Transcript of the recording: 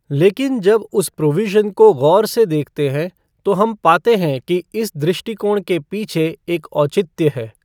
लेकिन जब उस प्रोविज़न को ग़ौर से देखते हैं तो हम पाते हैं कि इस दृष्टिकोण के पीछे एक औचित्य है।